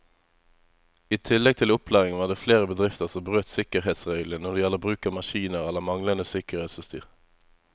I tillegg til opplæring var det flere bedrifter som brøt sikkerhetsreglene når det gjelder bruk av maskiner eller manglende sikkerhetsutstyr.